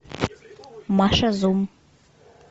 маша зум